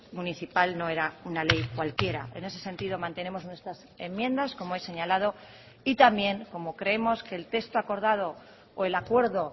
municipal no era una ley cualquiera en ese sentido mantenemos nuestras enmiendas como he señalado y también como creemos que el texto acordado o el acuerdo